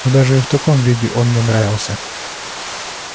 но даже и в таком виде он мне нравился